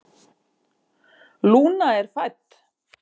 Lúna er fædd.